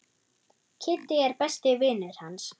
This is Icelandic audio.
Kiddi er besti vinur hans.